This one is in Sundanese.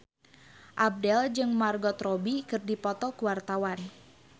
Abdel jeung Margot Robbie keur dipoto ku wartawan